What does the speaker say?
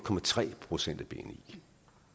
procent af bni